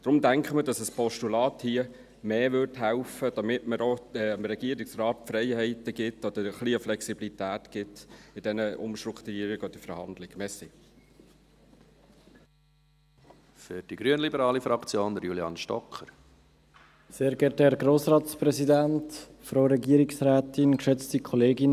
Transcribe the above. Deshalb denken wir, dass hier ein Postulat mehr helfen würde, damit man dem Regierungsrat bei diesen Umstrukturierungen oder Verhandlungen auch die Freiheiten oder ein wenig Flexibilität gibt.